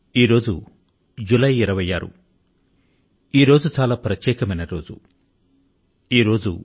ఈ రోజు జూలై 26 వ తేదీ ఇది ఒక చాలా ప్రత్యేకమైనటువంటి దినం